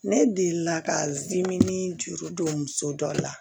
Ne delila ka dimii juru don muso dɔ la